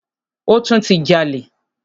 Ó tún ti jalè.